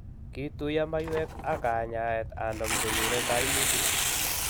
Kituiyo maywek ak kanyaayet anum konyure kaimutik